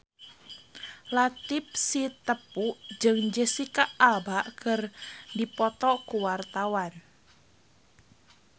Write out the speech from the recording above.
Latief Sitepu jeung Jesicca Alba keur dipoto ku wartawan